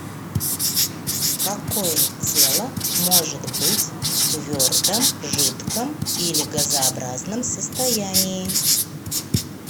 какое тело может быть в твердом жидком или газообразном состоянии